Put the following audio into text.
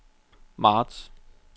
marts